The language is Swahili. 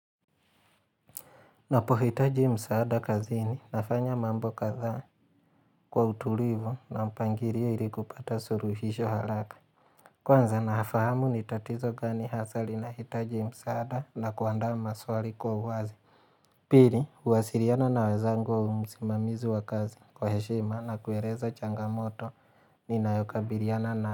Napohitaji msaada kazini nafanya mambo kadhaa kwa utulivu na mpangilio ili kupata suluhisho haraka. Kwanza nafahamu ni tatizo gani hasa linahitaji msaada na kuandaa maswali kwa uwazi. Pili, huwasiliana na wenzangu au msimamiz wa kazi kwa heshima na kueleza changamoto ninayokabiliana na.